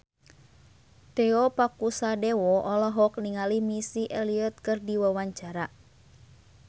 Tio Pakusadewo olohok ningali Missy Elliott keur diwawancara